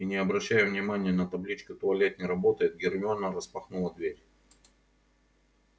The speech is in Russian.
и не обращая внимания на табличку туалет не работает гермиона распахнула дверь